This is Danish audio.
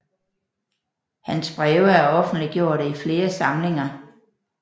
Hans breve er offentliggjorte i flere samlinger